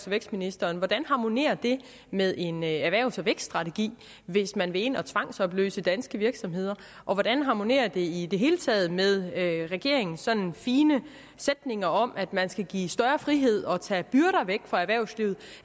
vækstministeren hvordan harmonerer det med en erhvervs og vækststrategi hvis man vil ind og tvangsopløse danske virksomheder og hvordan harmonerer det i det hele taget med regeringens sådan fine sætninger om at man skal give større frihed og tage byrder væk fra erhvervslivet